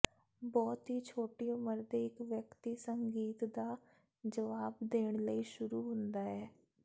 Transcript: ਬਹੁਤ ਹੀ ਛੋਟੀ ਉਮਰ ਦੇ ਇਕ ਵਿਅਕਤੀ ਸੰਗੀਤ ਦਾ ਜਵਾਬ ਦੇਣ ਲਈ ਸ਼ੁਰੂ ਹੁੰਦਾ ਹੈ